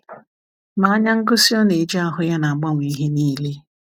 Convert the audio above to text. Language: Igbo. Ma anya ngosi ọ na-eji ahụ ya na-agbanwe ihe niile.